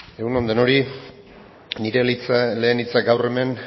egun on denoi nire lehen hitzak gaur hemen